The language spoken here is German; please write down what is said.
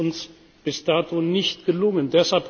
Das ist uns bis dato nicht gelungen.